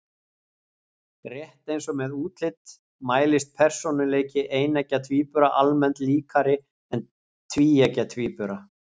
Rétt eins og með útlit mælist persónuleiki eineggja tvíbura almennt líkari en tvíeggja tvíbura.